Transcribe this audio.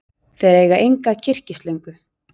Þau eiga enga kyrkislöngu.